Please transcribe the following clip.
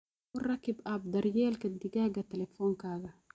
Ku rakib app daryeelka digaaga taleefankaaga.